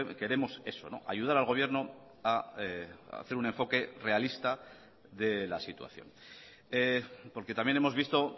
queremos eso ayudar al gobierno a hacer un enfoque realista de la situación porque también hemos visto